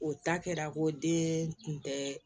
O ta kɛra ko den tun tɛ